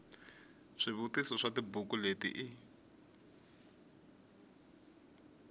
swivutiso swa tibuku leti u